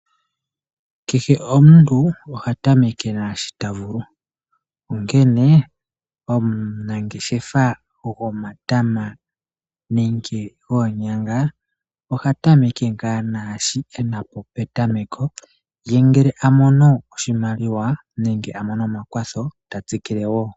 Kehe omuntu oha tameke naasho ta vulu onkee omunangeshefa nomatama nenge oonyanga oha tameke ngaa naashoka ena po petameko ye ngele a mono oshimaliwa nenge omakwatho ye ta tsikile ko wo.